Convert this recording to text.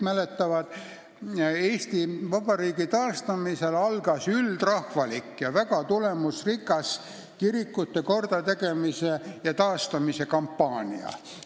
Pärast Eesti Vabariigi taastamist algas üldrahvalik ja väga tulemusrikas kirikute kordategemise ja taastamise kampaania.